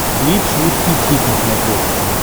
бридж русский хит на смотрешке